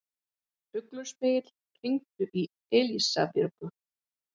Ugluspegill, hringdu í Elísabjörgu.